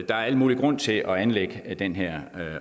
der al mulig grund til at anlægge den her